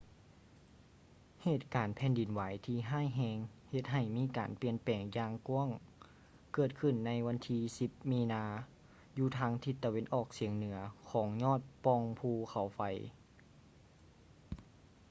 ເຫດການແຜ່ນດິນໄຫວທີ່ຮ້າຍແຮງເຮັດໃຫ້ມີການປ່ຽນແປງຢ່າງກວ້າງເກີດຂຶ້ນໃນວັນທີ 10 ມີນາ ຢູ່ທາງທິດຕາເວັນອອກສຽງເໜືອຂອງຍອດປ່ອງພູເຂົາໄຟ